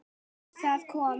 Það kom